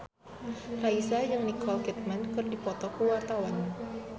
Raisa jeung Nicole Kidman keur dipoto ku wartawan